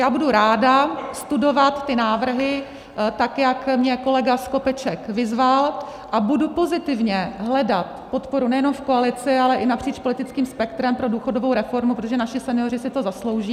Já budu ráda studovat ty návrhy, tak jak mě kolega Skopeček vyzval, a budu pozitivně hledat podporu nejenom v koalici, ale i napříč politickým spektrem pro důchodovou reformu, protože naši senioři si to zaslouží.